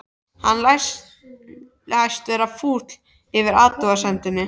Hann læst vera fúll yfir athugasemdinni.